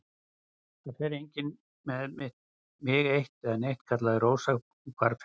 Það fer enginn með mig eitt né neitt, kallaði Rósa og hvarf fyrir hornið.